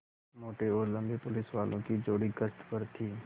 मोटे और लम्बे पुलिसवालों की जोड़ी गश्त पर थी